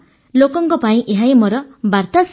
ଲୋକଙ୍କ ପାଇଁ ଏହାହିଁ ମୋର ବାର୍ତ୍ତା ସାର୍